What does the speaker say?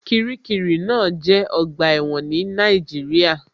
Kiríkirì náà jẹ́ ọgbà ẹ̀wọ̀n ní Nàìjíríà